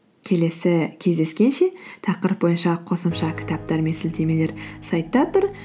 келесі кездескенше тақырып бойынша қосымша кітаптар мен сілтемелер сайтта тұр